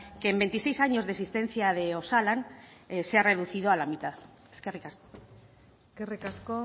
que en veintiséis años de existencia de osalan se ha reducido a la mitad eskerrik asko eskerrik asko